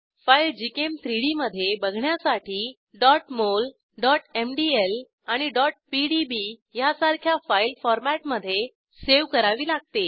file gchem3डी मधे बघण्यासाठी mol mdl आणि pdb ह्यासारख्या फाईल फॉरमॅटमधे सावे करावी लागते